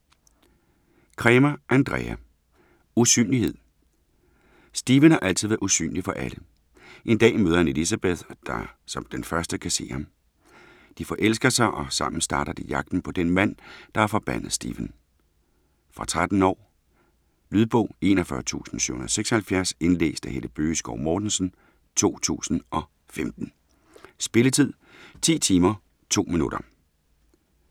Cremer, Andrea: Usynlighed Stephen har altid været usynlig for alle. En dag møder han Elizabeth, der som den første kan se ham. De forelsker sig og sammen starter de jagten på den mand, der har forbandet Stephen. Fra 13 år. Lydbog 41776 Indlæst af Helle Bøgeskov Mortensen, 2015. Spilletid: 10 timer, 2 minutter.